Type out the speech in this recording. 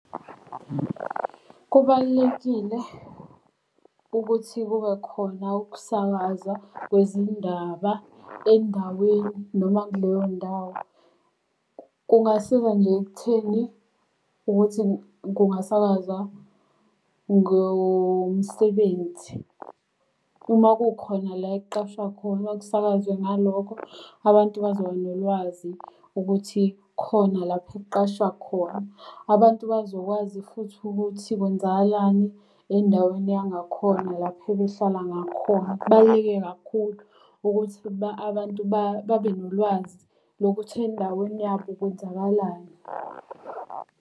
Kubalulekile ukuthi kube khona ukusakaza kwezindaba endaweni noma kuleyo ndawo. Kungasiza nje ekutheni ukuthi kungasakaza ngomsebenzi. Uma kukhona la ekuqashwa khona kusakazwe ngalokho. Abantu bazoba nolwazi ukuthi khona lapha ekuqashwa khona. Abantu bazokwazi futhi ukuthi kwenzakalani endaweni yangakhona lapha ebehlala ngakhona. Kubaluleke kakhulu ukuthi abantu babe nolwazi lokuthi endaweni yabo kwenzakalani.